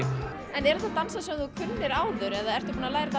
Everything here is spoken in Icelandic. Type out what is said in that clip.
en eru þetta dansar sem þú kunnir áður eða ertu búin að læra